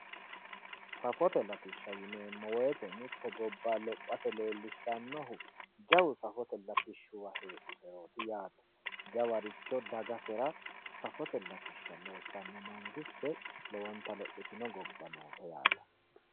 safote latishsha yineemmo woyte mitte gobba lophase leellishshannohu jawa lophote latishshuwa heedhuserooti yaate mitto dagasera safote latishsha loossanno mangiste lowonta lophitino gobba noote yaate